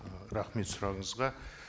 ы рахмет сұрағыңызға